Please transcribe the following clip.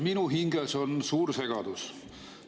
Minu hinges on suur segadus.